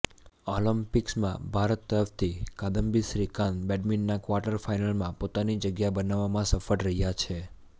ઓલિમ્પિકમાં ભારત તરફથી કાદમ્બિ શ્રીકાંત બેડમિન્ટનના કવાટર ફાઇનલમાં પોતાની જગ્યા બનાવવામાં સફળ રહ્યા છે